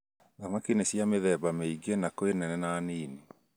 Thamaki nĩ cia mĩtheme mĩingĩ na kwĩ nene na nini.